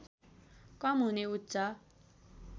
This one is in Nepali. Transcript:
कम हुने उच्च